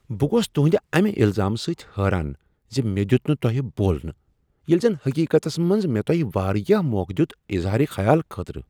بہٕ گوس تُہندِ اَمِہ الزام سۭتۍ حیران زِ مےٚ دِیُت نہٕ تۄہِہ بولنہٕ ییلٕہ زن حقیقتس منٛز مےٚ تۄہِہ واریاہ موقع دِیِت اظہارِ خیال خٲطرٕ۔